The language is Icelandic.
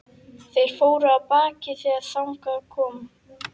Þeir fóru af baki þegar þangað kom.